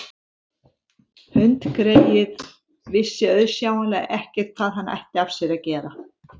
Hundgreyið vissi auðsjáanlega ekkert hvað hann ætti af sér að gera.